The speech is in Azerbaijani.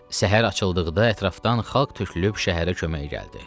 Səhər açıldıqda ətrafdan xalq tökülüb şəhərə köməyə gəldi.